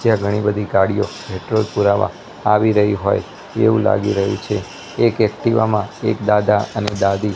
ત્યાં ઘણી બધી ગાડીયો પેટ્રોલ પુરાવા આવી રહી હોય એવુ લાગી રહ્યુ છે એક એક્ટિવા માં એક દાદા અને દાદી.